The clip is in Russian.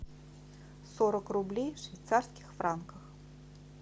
сорок рублей в швейцарских франках